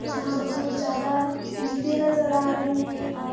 यहाँ बहुत ज्यादा डी के नजर आ रही है और--